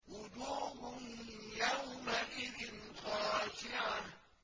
وُجُوهٌ يَوْمَئِذٍ خَاشِعَةٌ